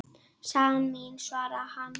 Sagan mín, svarar hann.